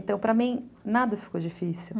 Então, para mim, nada ficou difícil.